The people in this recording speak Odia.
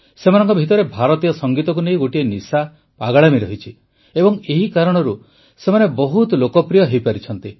ସେମାନଙ୍କ ଭିତରେ ଭାରତୀୟ ସଙ୍ଗୀତକୁ ନେଇ ଗୋଟିଏ ନିଶା ପାଗଳାମି ରହିଛି ଏବଂ ଏହି କାରଣରୁ ସେମାନେ ବହୁତ ଲୋକପ୍ରିୟ ହୋଇପାରିଛନ୍ତି